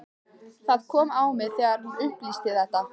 Það kom á mig þegar hún upplýsti þetta.